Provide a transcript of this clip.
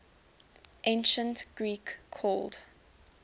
ancient greek called